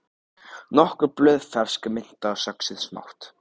Nokkur blöð fersk mynta söxuð smátt